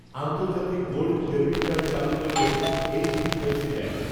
আন্তর্জাতিক gold debit card চালু করল, H D, F C bank